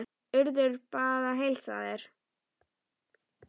Urður bað að heilsa þér.